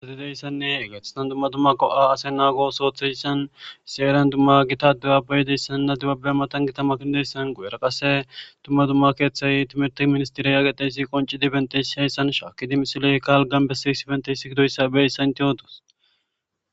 Issi herani gitta adebabayieynne timirtte keththati dettes.